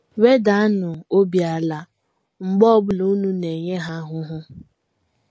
Wedanụ obi ala mgbe ọ bụla unu na - enye ha ahụhụ.